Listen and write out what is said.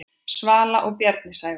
Svala og Bjarni Sævar.